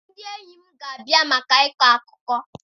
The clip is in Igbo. Ndị enyi m ga-abịa maka ịkọ akụkọ.